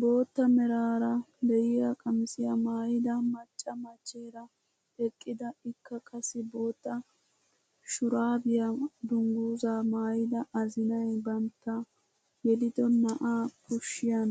Bootta meraara de'iyaa qamisiyaa maayida macca machcheera eqqida ikka qassi bootta dhurabiyaa dunguzaa maayida azinay bantta yelido na'aa kushiyaan